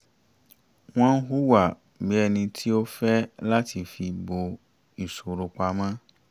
wọ́n hùwà bí ẹni tí ó nífẹ̀ẹ́ láti fi bò ìṣòro pamọ̀